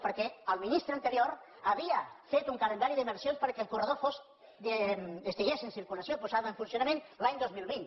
perquè el ministre anterior havia fet un calendari d’inversions perquè el corredor estigués en circulació posat en funcionament l’any dos mil vint